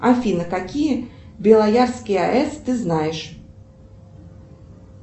афина какие белоярские аэс ты знаешь